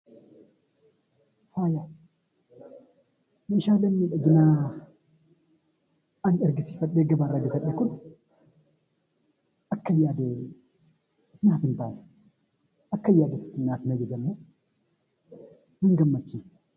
Meeshaaleen miidhaginaa ani argisiifadhee gabaarraa bitadhe kun akkan yaade naaf hin taane. Akkan yaade naaf hin ajajamne. Na hin gammachiifne.